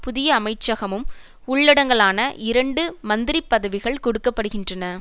புதிய அமைச்சகமும் உள்ளடங்கலான இரண்டு மந்திரி பதவிகள் கொடுக்க படுகின்றன